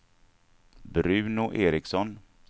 Bruno Ericson